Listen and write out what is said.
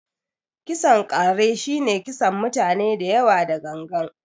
kisan ƙare shi ne kisan mutane dayawa da gangan.